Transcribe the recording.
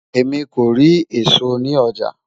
èmi kò rí èsó ní ọjà